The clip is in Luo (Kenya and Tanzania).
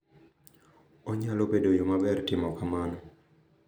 Onyalo bedo yo maber mar timo kamano.